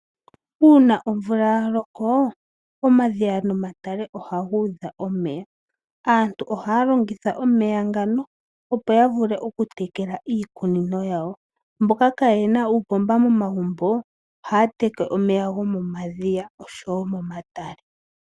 Uuna omvula omadhiya nomatale ohaga udha omeya. Aantu ohaya longitha omeya ngano ya vule tekela iikunino yawo. Aantu mboka kaayena uupomba Momagumbo ohaya teke omeya go omadhiya noshowo momatale.